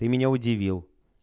ты меня удивил